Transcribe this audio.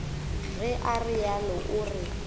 ge o realo o ra